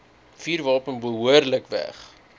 vuurwapen behoorlik weg